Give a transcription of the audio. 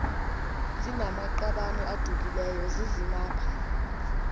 zinamaqabane adukileyo zizimapha